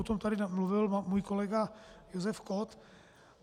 O tom tady mluvil můj kolega Josef Kott.